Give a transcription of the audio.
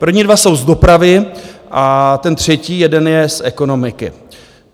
První dva jsou z dopravy a ten třetí jeden je z ekonomiky.